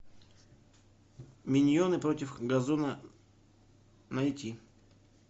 миньоны против газона найти